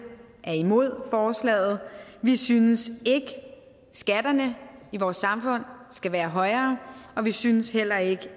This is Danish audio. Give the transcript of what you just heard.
er imod forslaget vi synes ikke at skatterne i vores samfund skal være højere og vi synes heller ikke